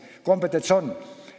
Kompetents on olemas.